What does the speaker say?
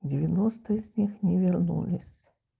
девяносто из них не вернулись